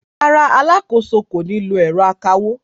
Rárá, alákòóso kò ní lo ẹ̀rọ akawó.